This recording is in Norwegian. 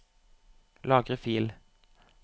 Lagre fil